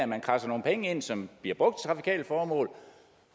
man kradser nogle penge ind som bliver brugt til trafikale formål